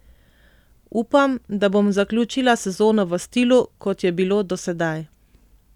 Upam, da bom zaključila sezono v stilu kot je bilo do sedaj.